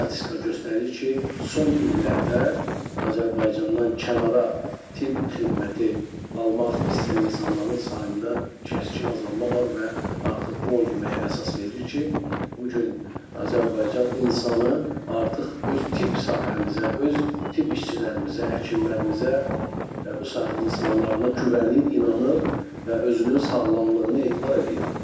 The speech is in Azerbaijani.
Statistika göstərir ki, son illərdə Azərbaycandan kənara tibb xidməti almaq istəyən insanların sayında kəskin azalma var və artıq bu onu deməyə əsas verir ki, bu gün Azərbaycan insanı artıq öz tibb sahəmizə, öz tibb işçilərimizə, həkimlərimizə, bu sahənin insanlarına güvənir, inanır və özünün sağlamlığını etibar eləyir.